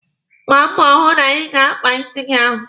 Gbaa mbọ hụ na ị ga-akpa isi gị ahụ!